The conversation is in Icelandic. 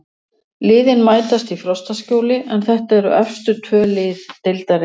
Liðin mætast í Frostaskjóli en þetta eru efstu tvö lið deildarinnar.